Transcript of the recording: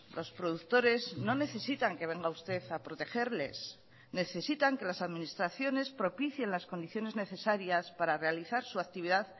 los productores no necesitan que venga usted a protegerles necesitan que las administraciones propicien las condiciones necesarias para realizar su actividad